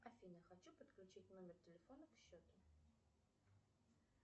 афина хочу подключить номер телефона к счету